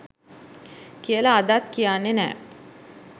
කියල අදත් කියන්නේ නෑ